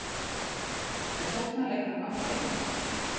Er sóknarleikurinn áhyggjuefni?